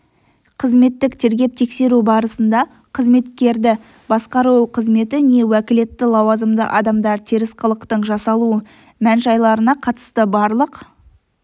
қызметтік тергеп-тексеру барысында қызметкерді басқару қызметі не уәкілетті лауазымды адамдар теріс қылықтың жасалу мән-жайларына қатысты барлық